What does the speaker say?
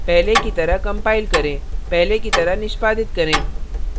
पहले की तरह कंपाइल करें पहले की तरह निष्पादित करें